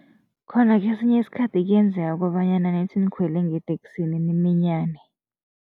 Khona kesinye isikhathi kuyenzeka kobanyana nithi nikhwele ngeteksini niminyane.